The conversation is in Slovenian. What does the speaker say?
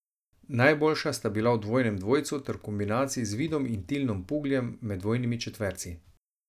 Najboljša sta bila v dvojnem dvojcu ter v kombinaciji z Vidom in Tilnom Pugljem med dvojnimi četverci.